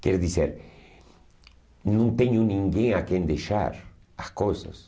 Quer dizer, não tenho ninguém a quem deixar as coisas.